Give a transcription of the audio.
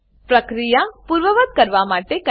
પ્રક્રિયા પૂર્વવત્ કરવા માટે CTRLZ દબાવો